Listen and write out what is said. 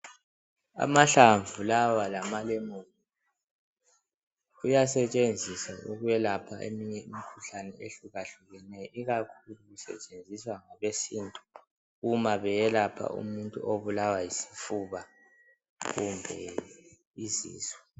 Amahlamvu lawa lamalemoni kuyasetshenziswa ukuyelapha eminye imikhuhlane ehlukahlukeneyo ikakhulu kusetshenziswa ngokwesintu uma beyelapha umuntu obulawa yisifuba kumbe izisu.